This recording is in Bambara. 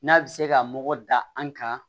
N'a bɛ se ka mɔgɔ dan an kan